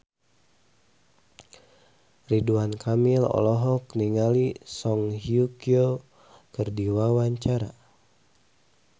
Ridwan Kamil olohok ningali Song Hye Kyo keur diwawancara